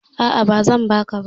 A'a, ba zan baka ba